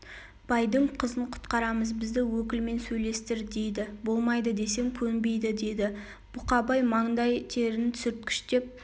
байдың қызын құтқарамыз бізді өкілмен сөйлестір дейді болмайды десем көнбейді деді бұқабай мандай терін сүрткіштеп